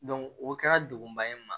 o kɛra degunba ye n ma